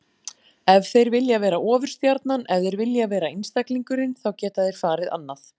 Ef þeir vilja vera ofurstjarnan, ef þeir vilja vera einstaklingurinn, þá geta þeir farið annað.